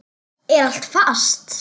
Er allt fast?